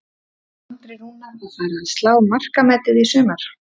Er Andri Rúnar að fara að slá markametið í sumar?